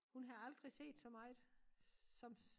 Hun havde aldrig set så meget som